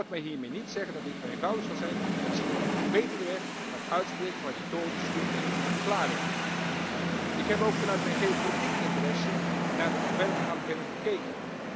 U hoort mij hiermee niet zeggen dat dit eenvoudig zal zijn, maar ik zie dit als een betere weg dan het uitspreken van retorisch goed klinkende verklaringen. Ik heb ook vanuit mijn geopolitieke interesse naar de ontwerpaanbeveling gekeken.